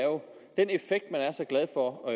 den effekt man er så glad for og